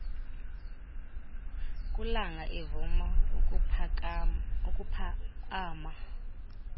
kulanga evuma ukuphakaama